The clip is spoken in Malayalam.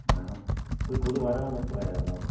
ങ്ഹാ. ഇത് കൊതു വരാനൊള്ള സ്പ്രേയാരുന്നാ?